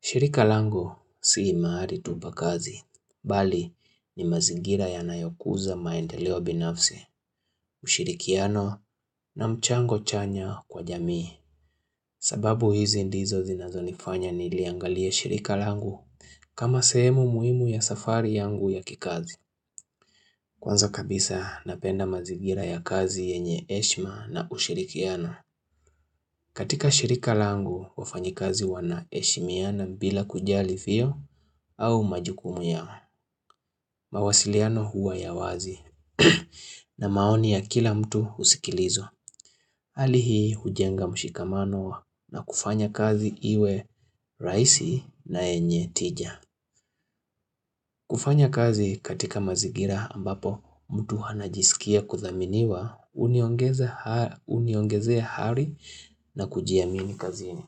Shirika langu sii mahali tu pa kazi, bali ni mazingira yanayo kuza maendeleo binafsi, ushirikiano na mchango chanya kwa jamii. Sababu hizi ndizo zinazo nifanya niliangalia shirika langu kama sehemu muhimu ya safari yangu ya kikazi. Kwanza kabisa napenda mazigira ya kazi yenye heshma na ushirikiano. Katika shirika langu wafanyi kazi wana heshimiana bila kujali fio au majukumu ya mawasiliano huwa ya wazi na maoni ya kila mtu husikilizwa. Hali hii hujenga mshikamano na kufanya kazi iwe rahisi na yenye tija. Kufanya kazi katika mazingira ambapo mtu anajisikia kuthaminiwa uniongezea ari na kujiamini kazini.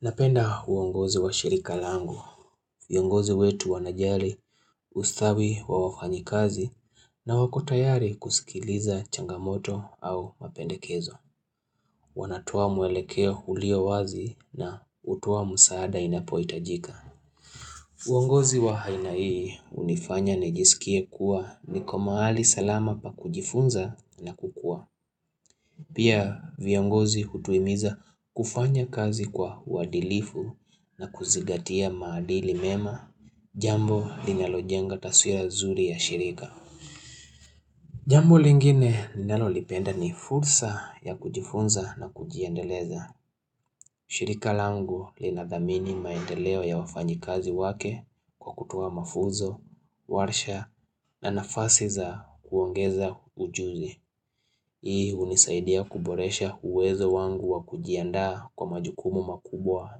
Napenda uongozi wa shirika langu, viongozi wetu wanajali, ustawi wa wafanyi kazi na wako tayari kusikiliza changamoto au mapendekezo. Wanatoa mwelekea ulio wazi na utua msaada inapohitajika. Uongozi wa aina hii hunifanya nijisikie kuwa niko mahali salama pa kujifunza na kukuwa. Pia viongozi hutuhimiza kufanya kazi kwa uwadilifu na kuzingatia maadili mema jambo linalojenga taswira zuri ya shirika. Jambo lingine ninalolipenda ni fursa ya kujifunza na kujiendeleza. Shirika langu linadhamini maendeleo ya wafanyi kazi wake kwa kutoa mafunzo, warsha na nafasi za kuongeza ujuzi. Hii hunisaidia kuboresha uwezo wangu wa kujiandaa kwa majukumu makubwa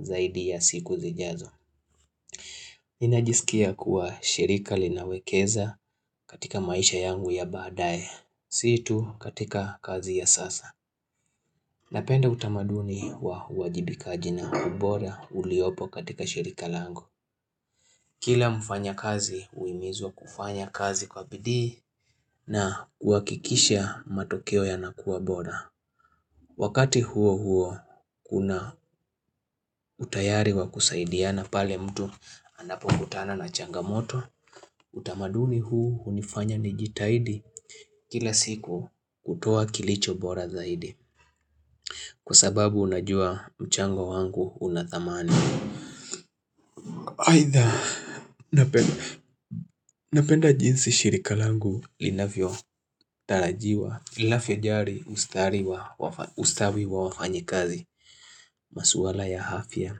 zaidi ya siku zijazo. Ninajisikia kuwa shirika linawekeza katika maisha yangu ya baadaye, sii tu katika kazi ya sasa. Napenda utamaduni wa uwajibikaji na ubora uliopo katika shirika langu. Kila mfanya kazi huimizwa kufanya kazi kwa bidii na kuhakikisha matokeo yanakuwa bora. Wakati huo huo kuna utayari wa kusaidiana pale mtu anapo kutana na changamoto utamaduni huu hunifanya nijitahidi kila siku kutoa kilicho bora zaidi Kwa sababu unajua mchango wangu unathamani Aitha napenda jinsi shirika langu linavyo tarajiwa ilafya jari ustawi wa wafanyikazi masuala ya afya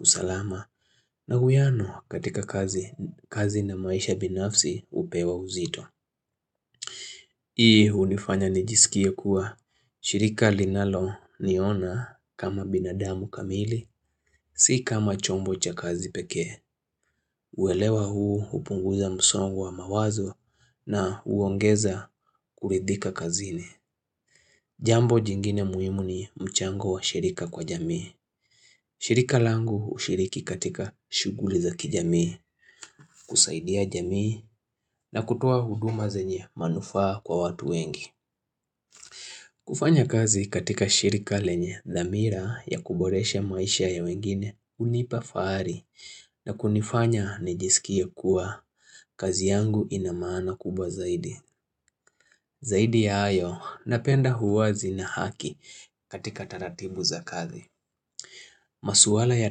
usalama na uwiano katika kazi na maisha binafsi upewa uzito Hii hunifanya nijisikia kuwa shirika linalo niona kama binadamu kamili Si kama chombo cha kazi pekee uelewa huu hupunguza msongo wa mawazo na uongeza kuridhika kazini Jambo jingine muhimu ni mchango wa shirika kwa jamii shirika langu hushiriki katika shughuli za kijamii, kusaidia jamii na kutoa huduma zenye manufaa kwa watu wengi. Kufanya kazi katika shirika lenye dhamira ya kuboresha maisha ya wengine hunipa fahari na kunifanya nijisikie kuwa kazi yangu inamaana kubwa zaidi. Zaidi ya hayo napenda uwazi na haki katika taratibu za kazi. Masuala ya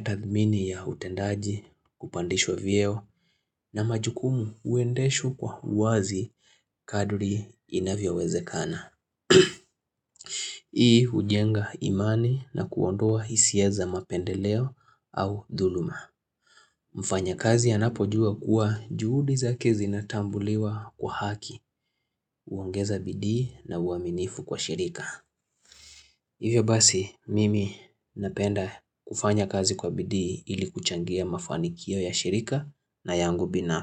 tathmini ya utendaji kupandishwa vieo na majukumu huendeshwa kwa uwazi kadri inavyo wezekana. Hii hujenga imani na kuondoa ihisia za mapendeleo au dhuluma. Mfanya kazi anapojua kuwa juhudi zake zinatambuliwa kwa haki huongeza bidii na uaminifu kwa shirika. Hivyo basi, mimi napenda kufanya kazi kwa bidi ili kuchangia mafanikio ya shirika na yangu bina.